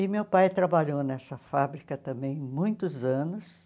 E meu pai trabalhou nessa fábrica também muitos anos.